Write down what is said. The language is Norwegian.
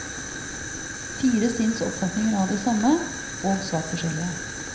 Fire sinns oppfatninger av det samme, og svært forskjellige.